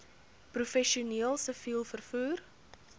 professioneel siviel vervoer